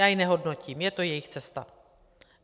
Já ji nehodnotím, je to jejich cesta.